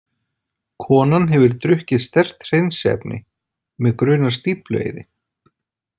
Konan hefur drukkið sterkt hreinsiefni, mig grunar stíflueyði.